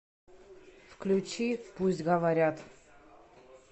включи пусть говорят